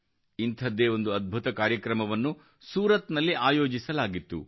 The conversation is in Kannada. ಇಂಥದ್ದೇ ಒಂದು ಅದ್ಭುತ ಕಾರ್ಯಕ್ರಮವನ್ನು ಸೂರತ್ನಲ್ಲಿ ಆಯೋಜಿಸಲಾಗಿತ್ತು